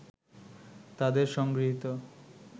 তাদের সংগৃহীত